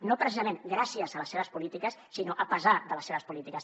no precisament gràcies a les seves polítiques sinó a pesarde les seves polítiques